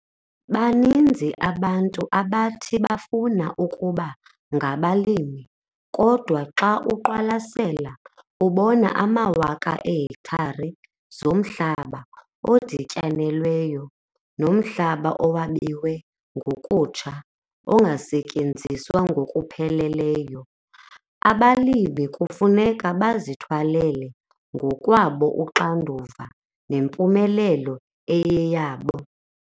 Baninzi abantu abathi bafuna ukuba ngabalimi kodwa xa uqwalasela ubona amawaka eehektare zomhlaba odityanelweyo nomhlaba owabiwe ngokutsha ongasetyenziswa ngokupheleleyo. Abalimi kufuneka bazithwalele ngokwabo uxanduva nempumelelo eyiyeyabo.